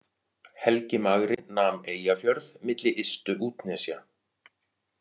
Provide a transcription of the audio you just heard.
Helgi magri nam Eyjafjörð milli ystu útnesja.